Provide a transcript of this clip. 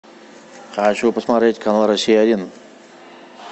хочу посмотреть канал россия один